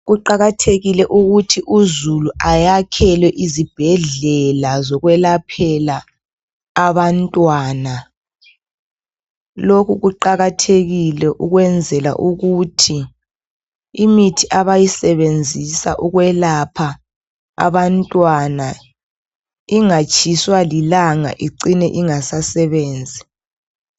Kuqakathekile ukuthi uzulu ayakhelwe izibhedlela zokwelaphela abantwana, lokhu kuqakathekile ukwenzela ukuthi imithi abayisebenzisa ukwelapha abantwana ingatshiswa lilanga icine ingasasebenzi.